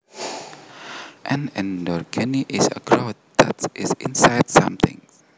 An endogeny is a growth that is inside something